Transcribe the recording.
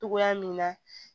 Togoya min na